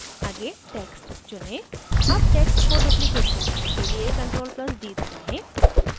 आगे text चुनें अब text को duplicate करने के लिए ctrl + d दबाएं